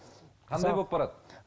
қандай болып барады